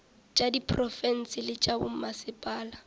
tša diprofense le tša bommasepala